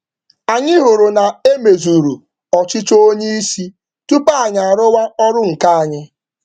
Anyị hụrụ na mmasị oga mezuru tupu anyị agaa n’ọrụ anyị.